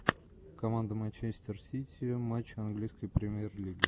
команда манчестер сити матчи английской премьер лиги